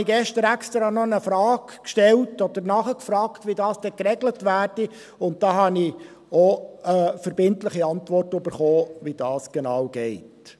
Da habe ich gestern extra noch eine Frage gestellt oder nachgefragt, wie dies dann geregelt würde, und ich habe eine verbindliche Antwort erhalten, wie dies genau geht.